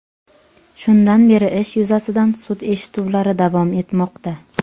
Shundan beri ish yuzasidan sud eshituvlari davom etmoqda.